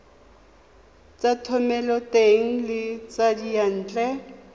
tsa thomeloteng le tsa diyantle